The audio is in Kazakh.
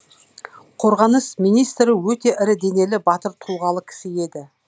қорғаныс министрі өте ірі денелі батыр тұлғалы кісі еді